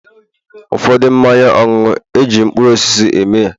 ụfọdụ mmanya ọṅụṅụ, e ji mkpụrụ osisi eme ya